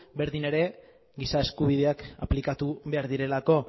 berdin ere giza eskubideak aplikatu behar direlako